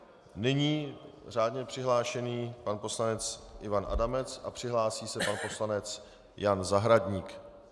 Nyní řádně přihlášený pan poslanec Ivan Adamec, a připraví se pan poslanec Jan Zahradník.